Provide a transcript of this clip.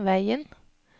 veien